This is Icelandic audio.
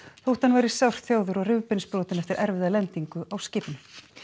þótt hann væri sárþjáður og rifbeinsbrotinn eftir erfiða lendingu á skipinu